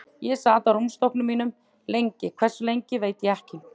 Ég sat á rúmstokknum mínum lengi, hversu lengi veit ég ekki.